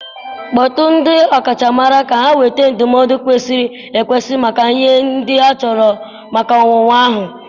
Kpọtụrụ ndị ọkachamara ka ha nweta ndụmọdụ kwesịrị ekwesị maka ihe ndị achọrọ maka owuwu ahụ